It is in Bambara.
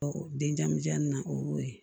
den jamujan nin na o y'o ye